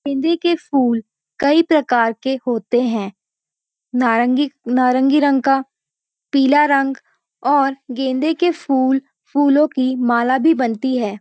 गेंदे के फूल कई प्रकार के होते हैं नारंगी नारंगी रंग का पीला रंग और गेंदे के फूल फूलों की माला भी बनती है।